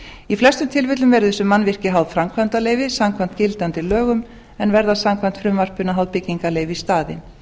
í flestum tilfellum verða þessi mannvirki háð framkvæmdarleyfi samkvæmt gildandi lögum en verða samkvæmt frumvarpinu háð byggingarleyfi í staðinn